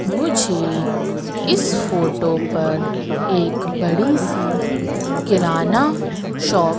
मुझे इस फोटो पर एक बड़ी सी किराना शाॅप --